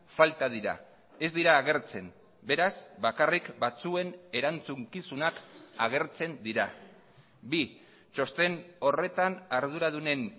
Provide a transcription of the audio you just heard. falta dira ez dira agertzen beraz bakarrik batzuen erantzukizunak agertzen dira bi txosten horretan arduradunen